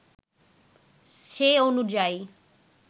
সে অনুযায়ী